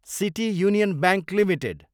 city Union Bank Ltd